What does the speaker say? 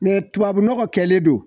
tubabu nɔgɔ kɛlen don